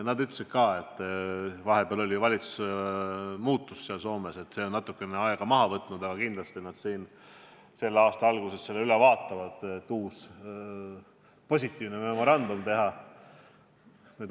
Nad ütlesid, et kuna Soomes valitsus vahepeal vahetus, siis see on natukene aega maha võtnud, aga et selle aasta alguses nad kindlasti vaatavad selle memorandumi üle, et uus positiivne memorandum teha.